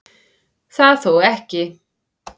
Það þó ekki